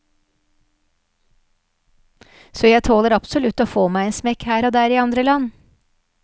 Så jeg tåler absolutt å få meg en smekk her og der i andre land.